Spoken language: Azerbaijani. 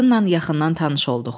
Qadınnan yaxından tanış olduq.